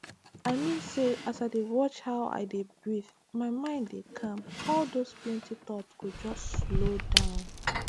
i mean say as i dey watch how i dey breathe my mind dey calm all those plenty thoughts go just slow down